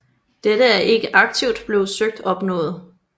Dette er ikke aktivt blevet søgt opnået